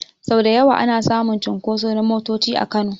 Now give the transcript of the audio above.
Sau da yawa ana samun cunkoso na motoci a Kano.